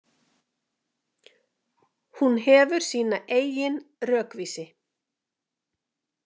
Hún hefur sína eigin rökvísi.